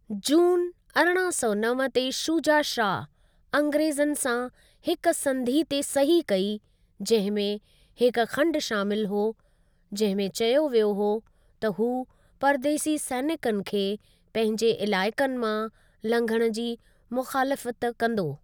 जून, अरिड़हां सौ नव ते शुजा शाह, अंग्रेज़नि सां हिक संधि ते सही कई, जहिं में हिक खंड शामिल हो जंहिं में चयो वियो हो त हू परदेसी सैनिकनि खे पंहिंजे इलाइकनि मां लंघंण जी मुख़ालिफ़त कंदो।